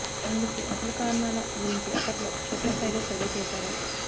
ఇందుకు అస లు కారణాల గురించి అప్పట్లో క్షేత్రస్థాయిలో సర్వే చేశా రు